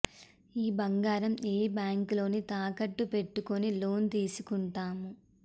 ఆ బంగారం ఏ బ్యాంక్ లోనే తాకట్టు పెట్టుకొని లోన్ తీసుకుంటాం